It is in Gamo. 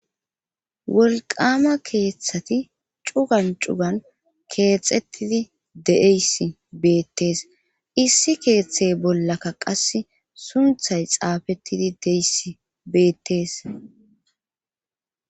Wolqama keeththati cugan cugan keexxettidi de7eyssi beettees issi keeththey bollakka qas sunthay xaafettidi deys beettees.